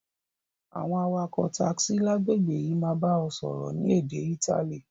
Àwon awakò taxi lágbègbè yi máa ba o sọ́rọ́ ni édé Itali